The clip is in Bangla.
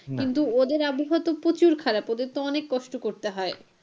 কিন্তু ওদের আবহাওয়া তো প্রচুর খারাপ ওদের তো অনেক কষ্ট করতে হয়।